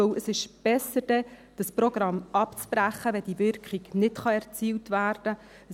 Denn es ist besser, das Programm dann abzubrechen, wenn die Wirkung nicht erzielt werden kann.